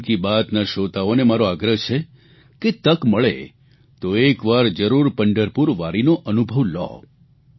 મન કી બાતના શ્રોતાઓને મારો આગ્રહ છે કે તક મળે તો એકવાર જરૂર પંઢરપુર વારીનો અનુભવ લો